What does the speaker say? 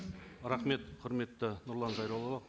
рахмет құрметті нұрлан зайроллаұлы